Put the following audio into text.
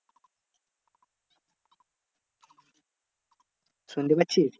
শুনতে পাচ্ছিস?